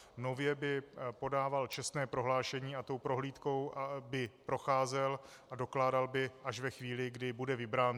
Nově by podával čestné prohlášení a tou prohlídkou by procházel a dokládal by až ve chvíli, kdy bude vybrán.